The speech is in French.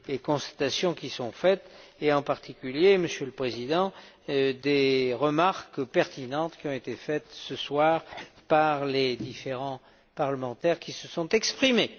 constatations qui sont faites et en particulier, Monsieur le Président, des remarques pertinentes qui ont été formulées ce soir par les différents parlementaires qui se sont exprimés.